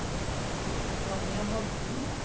Vanja Holten